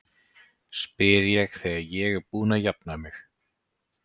spyr ég þegar ég er búin að jafna mig.